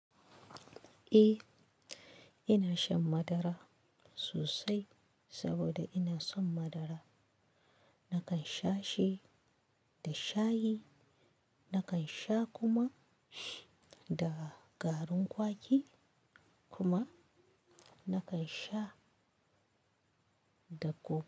Eh, ina shan madara sosai saboda ina son madara. Nakan sha shi da shayi, nakan sha kuma da garin kwaki kuma nakan sha da coke.